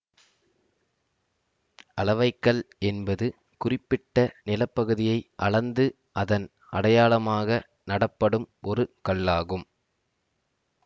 அளவை கல் என்பது குறிப்பிட்ட நிலப்பகுதியை அளந்து அதன் அடையாளமாக நடப்படும் ஒரு கல்லாகும்